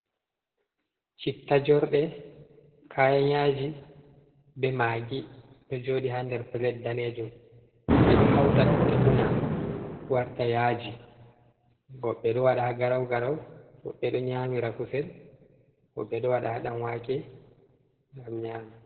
Chittajorde kayanyaji be magi do jodi ha nder plait danejum be do hauta dum be una warta yaji, wobbe do wada ha garaugarau wobbe do nyami ha kusel wobbe do wada ha damwake ngam nyama.